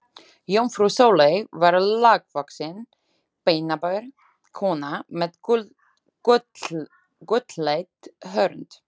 Jómfrú Sóley var lágvaxin, beinaber kona með gulleitt hörund.